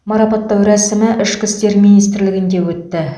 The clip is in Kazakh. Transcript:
марапаттау рәсімі ішкі істер министрлігінде өтті